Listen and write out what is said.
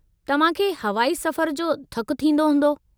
तव्हां खे हवाई सफ़र जो थकु थींदो हूंदो।